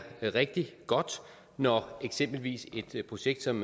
rigtig godt når eksempelvis et projekt som